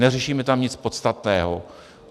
Neřešíme tam nic podstatného.